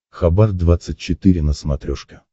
хабар двадцать четыре на смотрешке